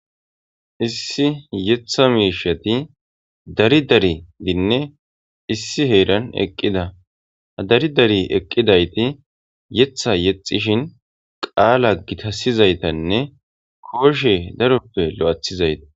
Issi yetha miishati dari dari dinne issi heeran eqqida hadari dari eqqidayti yetha yexxishin qaala gitasizaytanne kooshe daroppe lo7athizayta.